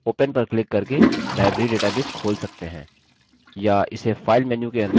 या इसे file menu के अंदर recent documents पर क्लिक करके खोल सकते हैं